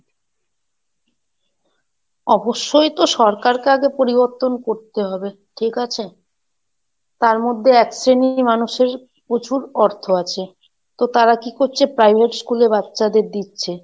অবশ্যই তো সরকারকে আগে পরিবর্তন করতে হবে, ঠিক আছে, তার মধ্যে এক শ্রেণীর মানুষের প্রচুর অর্থ আছে, তো তারা কি করছে? Private স্কুলে বাচ্চাদের দিচ্ছে,